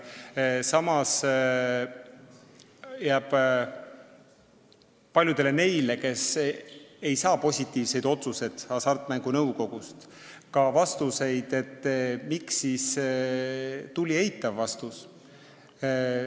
Samas jääb paljudele, kes ei saa Hasartmängumaksu Nõukogust positiivset otsust, arusaamatuks, miks tuli eitav vastus.